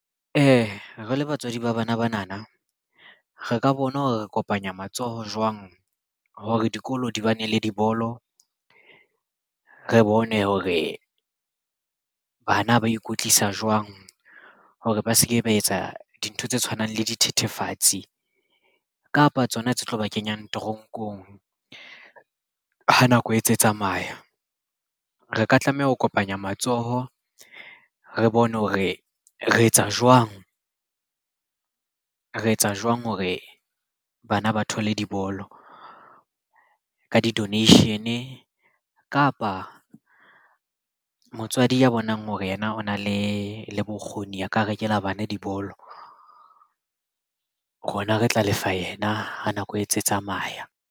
Re le batswadi ba bana bana na re ka bona ho re kopanya matsoho jwang hore dikolo di ba ne le dibolo? Re bone hore bana ba ikwetlisa jwang hore ba se ke ba etsa dintho tse tshwanang le dithethefatsi kapa tsona tse tlo ba kenya toronkong. Ha nako e ntse tsamaya re ka tlameha ho kopanya matsoho. Re bone hore re etsa jwang hore bana ba thole dibolo ka di-donation kapa motswadi ya bonang hore yena o na le le bokgoni a ka rekela bana dibolo rona re tla lefa yena ha nako e ntse tsamaya.